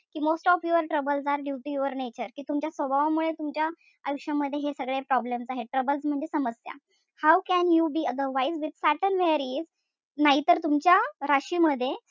कि most of your troubles are due to your nature कि तुमच्या स्वभावामुळे तुमच्या आयुष्यामध्ये हे सगळे problems आहेत. Troubles म्हणजे समस्या. How can you be otherwise with saturn where he is नाहीतर तुमच्या राशीमध्ये,